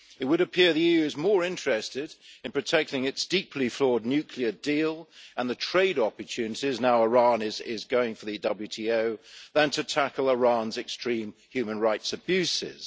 It would appear that the EU is more interested in protecting its deeply flawed nuclear deal and the trade opportunities now that Iran is going for the WTO, than to tackle Iran's extreme human rights abuses.